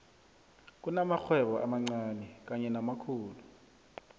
kunamakghwebo amancani kanye namakhulu